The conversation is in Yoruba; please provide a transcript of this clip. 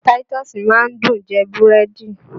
Táítọ́ọ́sì máa ń dùn jẹ búrẹ́dì